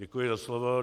Děkuji za slovo.